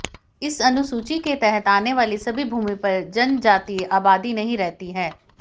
इस अनुसूची के तहत आने वाली सभी भूमि पर जनजातीय आबादी नहीं रहती है